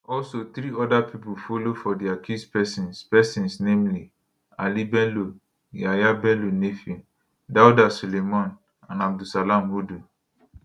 also three oda pipo follow for di accused pesins pesins namely ali bello yahaya bello nephew dauda suleiman and abdulsalam hudu